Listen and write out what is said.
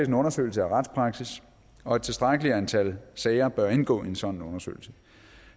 en undersøgelse af retspraksis og et tilstrækkeligt antal sager bør indgå i en sådan undersøgelse